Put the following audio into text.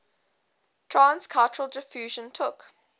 trans cultural diffusion took